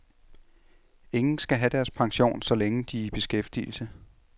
Ingen skal have deres pension, så længe de er i beskæftigelse.